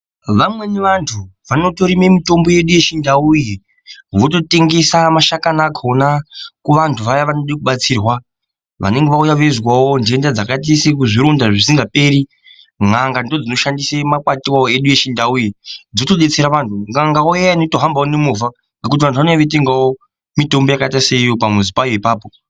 Vamweni vanthu vanotorima mitombo yedu yechindau iyi wototengesa mashakani akhona kuvanthu vaya vanoda kubatsirwa vanenge vauya veizwa ntenda dzakaita sezvironda zvisikaperi n'anga ndodzinoshandisa makwati edu echindau dzotodetsera vanthu n'anga iya inotohambawo nemovhangekuti vanthu vanouya veitenga mitombo pamuzi payo apapo.